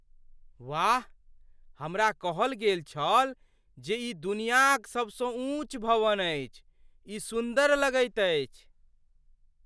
वाह। हमरा कहल गेल छल जे ई दुनियाक सबसँ ऊँच भवन अछि। ई सुन्दर लगैत अछि!